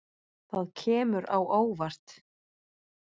Það kemur á óvart.